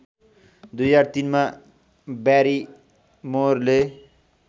२००३ मा ब्यारिमोरले